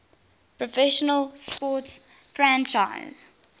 professional sports franchise